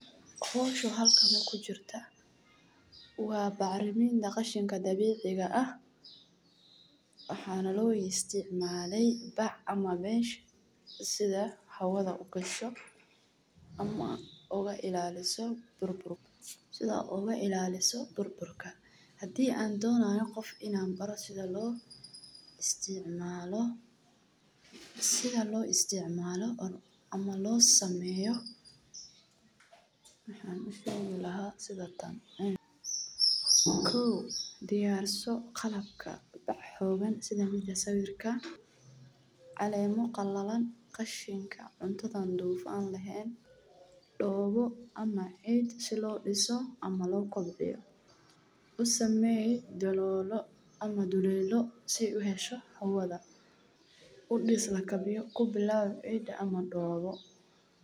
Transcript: Hawshan halkaana ku jirta waa bac rimi daqashinka dabiiciga ah. Waxaan loo isticmaalay bac ama beej sida hawada u gasho ama oga ilaaliso burburka sida oo uga ilaaliso burburka. Haddii aan doonayo qof in aan baro sida loo isticmalo sida loo isticmalo oh ama loo sameyo maxaan u sheegno lahaa sida tan ah. Ku diyaarso qalabka bac-hoogga sida mida sawirka. Caleemo qalladan. Qashinka cuntada duufan laheyn doobo ama cid si loo dhisoo ama loo kobbiyo. U sameyey daloolo ama duleelo si u hesho xawada. U dhig slakabiyo ku bilaabo cid ama doobo.